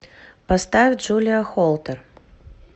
поставь джулия холтер